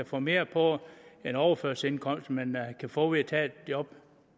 få mere på en overførselsindkomst end man kan få ved at tage et job